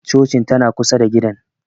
Cocin tana kusa da gidan